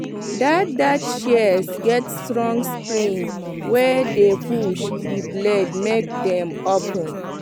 that that shears get strong spring wey dey push the blades make dem open